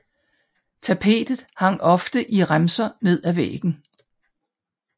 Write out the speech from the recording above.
Tapetet hang ofte i remser ned fra væggen